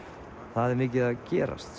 það er mikið að gerast